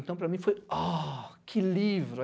Então, para mim foi... Oh, que livro!